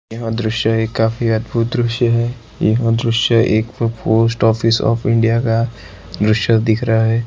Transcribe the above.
यहां दृश्य ही काफी है अदभुत दृश्य है यहां दृश्य एक पोस्ट ऑफिस ऑफ इंडिया का दृश्य दिख रहा है।